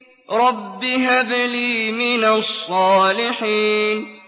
رَبِّ هَبْ لِي مِنَ الصَّالِحِينَ